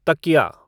तकिया